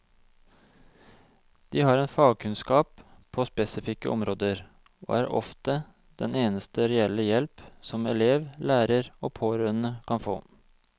De har en fagkunnskap på spesifikke områder, og er ofte den eneste reelle hjelp som elev, lærer og pårørende kan få.